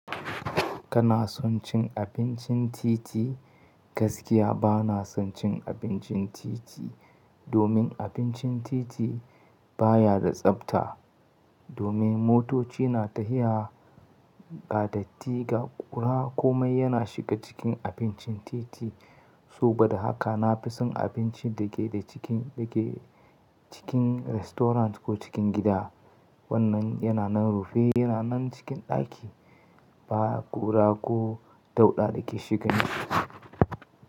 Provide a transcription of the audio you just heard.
Kana son cin abincin titi? Gaskiya bana son cin abincin titi, domin abincin titi baya da tsafta. Domin motoci na ta iya gadatti ga ƙura, komai yana shiga cikin abincin titi. So bada haka, na fi son abinci da ke da cikin, da ke cikin restaurant ko cikin gida. Wannan yana nan rufe, yana nan cikin ɗaki. Ba ƙura ko dauɗa da ke shigan shi.